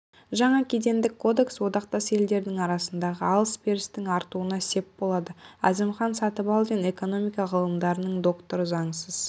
жаңа кедендік кодекс одақтас елдердің арасындағы алыс-берістің артуына сеп болады әзімхан сатыбалдин экономика ғылымдарының докторы заңсыз